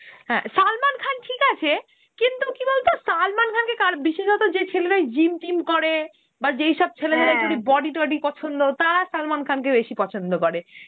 হ্যাঁ সালমান খান ঠিক আছে কিন্তু কি বলতো সালমান খানকে কার, বিশেষত যে ছেলেরা gym টিম করে বা যেইসব ছেলেদের body টডি পছন্দ তারা সালমান খানকে বেশি পছন্দ করে.